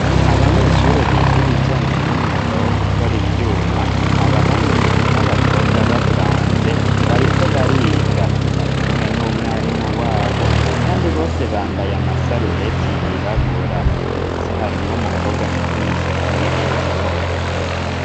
Abanyeshure biga ibijanye n'umwuga wo gukora ivyuma, abahungu ndetse n'abakobwa bavanze bariko bariga, barikumwe n'umwarimu wabo kandi bose bambaye amasarubete yirabura ndetse harimwo umukobwa afite imishatsi y'ikizungu.